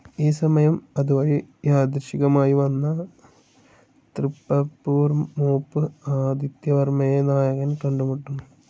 ഈ സമയം അതുവഴി യാദൃച്ഛികമായി വന്ന തൃപ്പാപ്പൂർമൂപ്പ് ആദിത്യവർമ്മയെ നായകൻ കണ്ടുമുട്ടുന്നു.